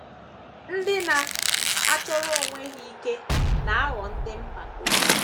Ndị na - achọrọ onwe ha ike na - aghọ ndị mpako.